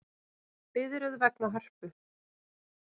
Biðröð vegna Hörpu